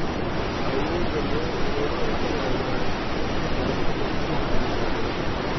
Awoodda looga hortagayo daadinta biyaha ayaa hooseysa.